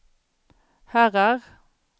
herrar